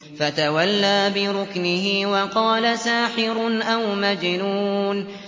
فَتَوَلَّىٰ بِرُكْنِهِ وَقَالَ سَاحِرٌ أَوْ مَجْنُونٌ